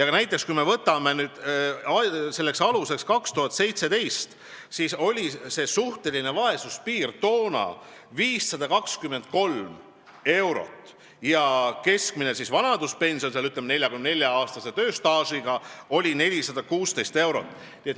Näiteks võtame aluseks aasta 2017, siis oli suhtelise vaesuse piir 523 eurot ja keskmine vanaduspension 44-aastase tööstaaži puhul oli 416 eurot.